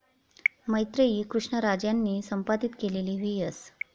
मैत्रेयी कृष्णराज यांनी संपादित केलेली व्ही एस.